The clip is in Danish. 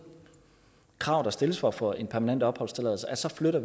krav der stilles for at få en permanent opholdstilladelse så flytter